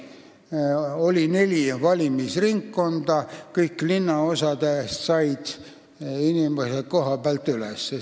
Seal oli neli valimisringkonda, kõigist linnaosadest seati kandidaate üles.